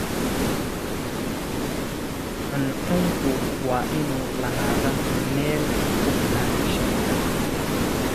Cuncunku waa inuu lahaadaa meel ku filan shinida